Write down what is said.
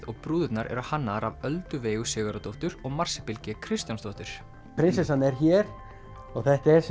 og brúðurnar eru hannaðar af Öldu Veigu Sigurðardóttur og Marsibil g Kristjánsdóttur prinsessan er hér og þetta er